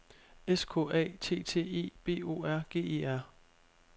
S K A T T E B O R G E R